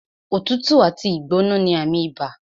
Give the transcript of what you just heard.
Òtútù àti ìgbóná ní àmì ibà